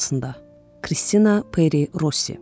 Kristina Peri Rossi.